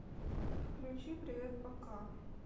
включи привет пока